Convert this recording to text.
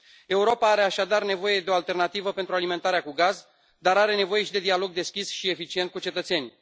Europa are, așadar, nevoie de o alternativă pentru alimentarea cu gaz, dar are nevoie și de dialog deschis și eficient cu cetățenii.